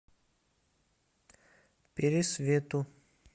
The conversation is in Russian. пересвету